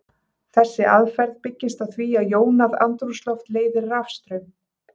Þessi aðferð byggist á því að jónað andrúmsloft leiðir rafstraum.